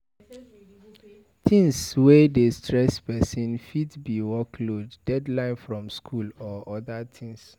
Things wey dey stress person fit be workload, deadline from school and oda things